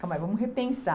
Calma, vamos repensar.